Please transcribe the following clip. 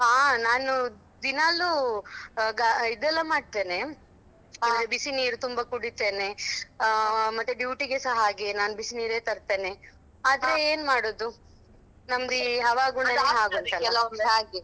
ಹಾ ನಾನು ದಿನಾಲೂ ಅಹ್ ಇದೆಲ್ಲಾ ಮಾಡ್ತೆನೆ ಅಂದ್ರೆ ಬಿಸಿ ನೀರು ತುಂಬಾ ಕುಡಿತೆನೆ ಮತ್ತೆ duty ಗೆಸಾ ಹಾಗೆ ನಾನು ಬಿಸಿ ನೀರೆ ತರ್ತೇನೆ ಆದ್ರೆ ಹವಾಗುಣಯೆಲ್ಲಾ ಅದು ಆಗ್ತದೆ ಕೆಲವೊಮ್ಮೆ ಹಾಗೆ.